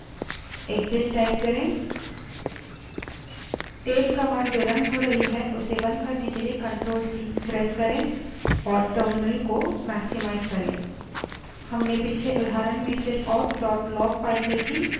running tail command को बंद करने के लिए ctrl + c प्रेस करें और टर्मिनल को maximize करें